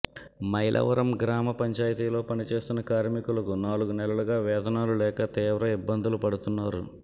మైలవరం గ్రామ పంచాయతీలో పనిచేస్తున్న కార్మికులకు నాలుగు నెలలుగా వేతనాలు లేక తీవ్ర ఇబ్బందులు పడుతున్నారు